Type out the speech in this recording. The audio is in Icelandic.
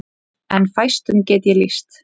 En fæstum get ég lýst.